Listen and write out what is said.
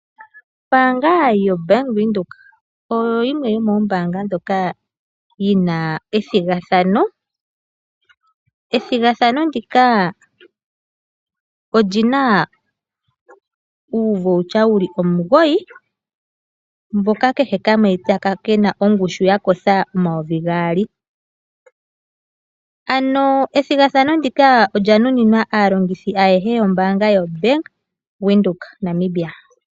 Ombaanga yoBank Windhoek oyo yimwe yomoombaanga ndhoka dhi na ethigathano. Methigathano mu ka omu na uukalata wokulanda sha moositola wu li omugoyi mboka kehe kamwe ke na ongushu yooN$ 2000. Ethigathano ndika olya nuninwa aalongithi ayehe yombaanga yaBank Windhoek, Namibia.